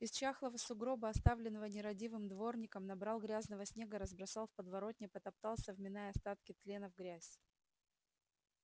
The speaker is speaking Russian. из чахлого сугроба оставленного нерадивым дворником набрал грязного снега разбросал в подворотне потоптался вминая остатки тлена в грязь